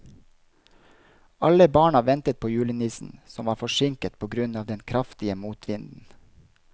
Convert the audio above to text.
Alle barna ventet på julenissen, som var forsinket på grunn av den kraftige motvinden.